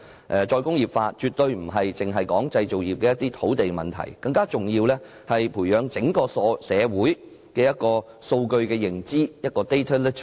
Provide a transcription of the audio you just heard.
"再工業化"絕不只是關乎製造業的土地問題，更重要的是培養整個社會的數據認知。